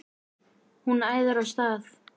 Hún æðir af stað.